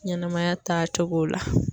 Ɲɛnɛmaya taa cogo la.